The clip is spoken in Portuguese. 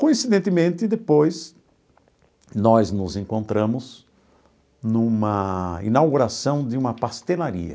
Coincidentemente, depois, nós nos encontramos numa inauguração de uma pastelaria.